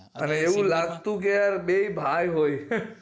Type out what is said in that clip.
અરે એવું લાગતું કે યાર બેય ભાઈ હોય